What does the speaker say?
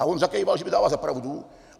A on zakýval, že mi dává za pravdu.